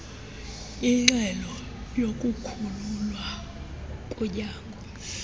inxelo yokukhululwa kunyango